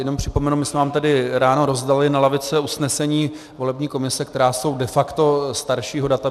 Jen připomenu, my jsme vám tady ráno rozdali na lavice usnesení volební komise, která jsou de facto staršího data.